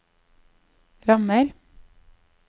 rammer